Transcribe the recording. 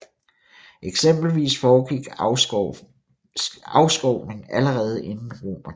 Eksempelvis foregik afskovning allerede inden romertiden